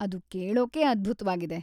ಅದು ಕೇಳೋಕೇ ಅದ್ಭುತ್ವಾಗಿದೆ.